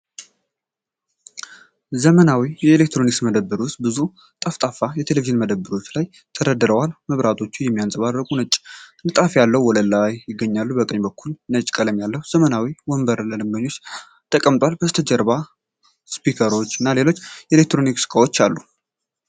ዘመናዊ የኤሌክትሮኒክስ መደብር ውስጥ ብዙ ጠፍጣፋ ቴሌቪዥኖች በመደርደሪያዎች ላይ ተደርድረዋል። መብራቶቹ የሚንፀባረቁበት ነጭ ንጣፍ ያለው ወለል ይገኛል። በቀኝ በኩል፣ ነጭ ቀለም ያለው ዘመናዊ ወንበር ለደንበኞች ተቀምጧል፤ ከበስተጀርባም ስፒከሮች እና ሌሎች የኤሌክትሮኒክስ ዕቃዎች አሉ።